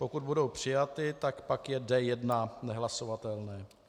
Pokud budou přijaty, pak je D1 nehlasovatelné.